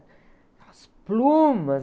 Aquelas plumas.